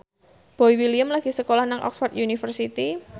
Boy William lagi sekolah nang Oxford university